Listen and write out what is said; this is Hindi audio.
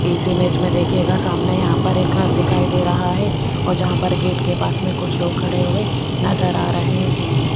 इस इमेज में देखिएगा सामने यहां पर एक घर दिखाई दे रहा है और जहां पर गेट के पास में कुछ लोग खड़े हुए नजर आ रहे हैं।